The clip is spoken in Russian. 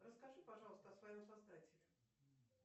расскажи пожалуйста о своем создателе